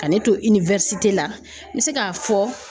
Ka ne to la n bɛ se k'a fɔ